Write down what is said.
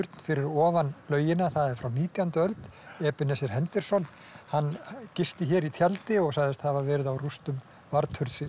fyrir ofan laugina það er frá nítjándu öld henderson hann gisti hér í tjaldi og sagðist hafa verið á rústum